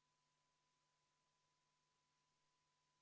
Vabariigi Valimiskomisjon on valmis läbi viima Riigikogu aseesimeeste valimise.